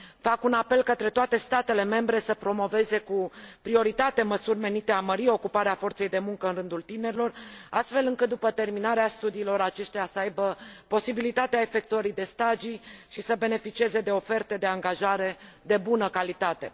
Fac un apel către toate statele membre să promoveze cu prioritate măsuri menite a mări ocuparea forței de muncă în rândul tinerilor, astfel încât, după terminarea studiilor, aceștia să aibă posibilitatea efectuării de stagii și să beneficieze de oferte de angajare de bună calitate.